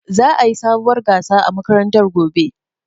Za'a yi sabuwar gasa a makarantar gobe.